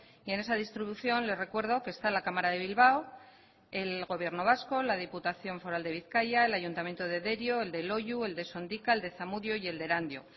y en esa distribución les recuerdo que está la cámara de bilbao el gobierno vasco la diputación foral de bizkaia el ayuntamiento de derio el de loiu el de sondika el de zamudio y el de erandio